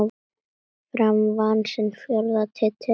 Fram vann sinn fjórða titil.